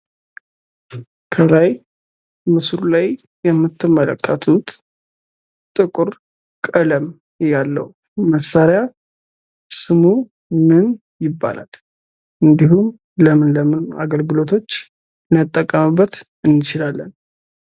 ከላይ ምስሉ ላይ የምትመለከቱት ጥቁር ቀለም ያለው መሳሪያ ስሙ ምን ይባላል? እንድሁም ለምን ለምን አገልግሎቶች ልንጠቀምበት እንችላለን?